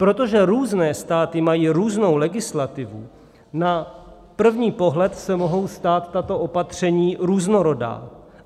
Protože různé státy mají různou legislativu, na první pohled se mohou zdát tato opatření různorodá.